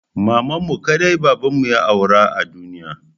Mamanmu kaɗai babanmu ya aura a duniya.